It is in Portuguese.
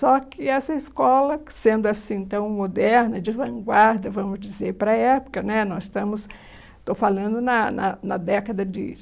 Só que essa escola, sendo assim tão moderna, de vanguarda, vamos dizer, para a época, nos estamos estou falando na na década de